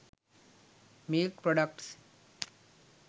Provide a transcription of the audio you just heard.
milk products